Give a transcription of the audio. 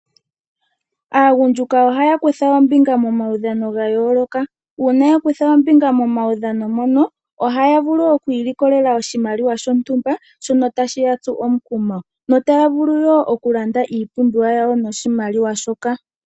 Aagundjuka ohaya kutha ombinga momaudhano gayooloka. Uuna ya kutha ombinga momaudhano mono ohaya vulu oku ilikolela oshimaliwa shontumba shono tashi ya tsu omukumo, notaya vulu wo okulanda iipumbiwa yawo noshimaliwa shoka.